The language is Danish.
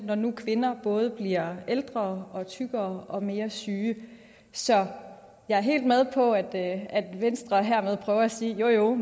når nu kvinder både bliver ældre og tykkere og mere syge så jeg er helt med på at at venstre hermed prøver at sige jo jo